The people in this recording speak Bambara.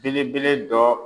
Belebele dɔ.